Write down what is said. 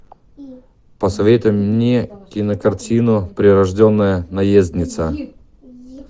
посоветуй мне кинокартину прирожденная наездница